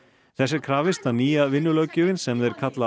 þess er krafist að nýja vinnulöggjöfin sem þeir kalla